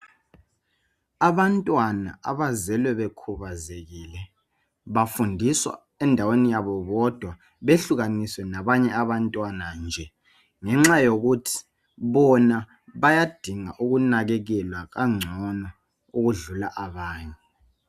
Abantwana abazelwe bekhubazekile bafundiswa endaweni yabo bodwa behlukaniswe labanye abantwana nje ngenxa yokuthi bona bayadinga ukunakekelwa kangcono ukudlula abanye.